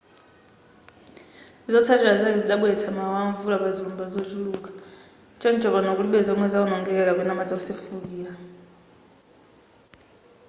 zotsalira zake zidabweretsa mawawa amvula pazilumba zochuluka choncho pano kulibe zomwe zawonongeka kapena madzi wosefukira